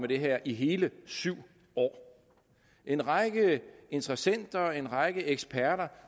det her i hele syv år en række interessenter en række eksperter